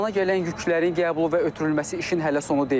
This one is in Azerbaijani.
Limana gələn yüklərin qəbulu və ötürülməsi işin hələ sonu deyil.